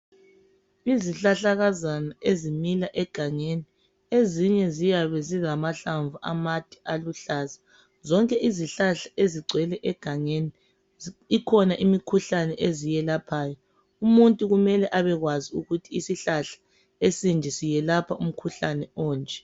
Izihlahlakazana ezimila egangeni. Ezinye ziyabe zilamahlanvu amade aluhlaza. Zonke izihlahla ezigcwele egangeni, ikhona imikhuhlane eziyelaphayo. Umuntu kumele abekwazi ukuthi isihlahla esinje siyelapha umkhuhlane onje.